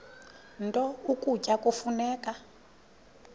nto ukutya kufuneka